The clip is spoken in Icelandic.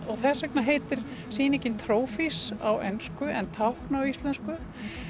þess vegna heitir sýninging Trophies á ensku en tákn á íslensku